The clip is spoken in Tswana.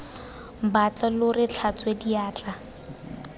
batla lo re tlhatswe diatla